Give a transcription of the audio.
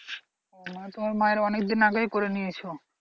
ও মানে তোমার মায়ের অনেক দিন আগেই করেনিয়েছো